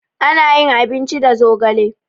Ana yin abinci da zogale.